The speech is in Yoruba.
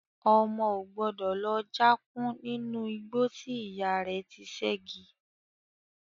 Ọmọ o gbọ́dọ̀ lọ já kún nínú igbó tí ìyá rẹ ti sẹ́gi.